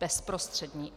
Bezprostřední.